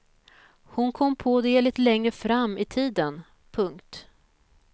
Hon kom på det lite längre fram i tiden. punkt